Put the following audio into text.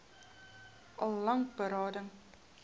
al lank berading